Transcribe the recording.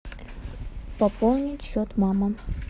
пополнить счет мама